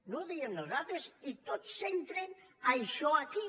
no ho diem nosaltres i tots centren això aquí